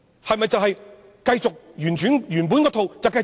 是否會繼續沿用原來那一套呢？